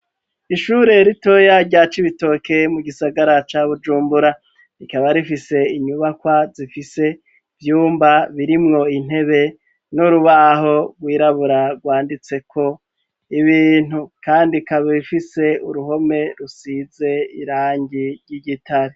Ishure ritoya rya cibitoke mu gisagara ca bujumbura rikaba rifise inyubakwa zifise vyumba birimwo intebe n'urubaho rwirabura rwanditseko ibintu kandi kaba bifise uruhome rusize irangi ry'igitare.